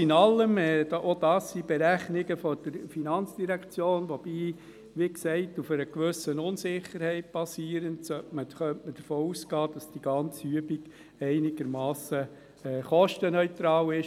Alles in allem – auch das sind Berechnungen der FIN, die allerdings auf einer gewissen Unsicherheit basieren – könnte man davon ausgehen, dass die ganze Übung einigermassen kostenneutral ist.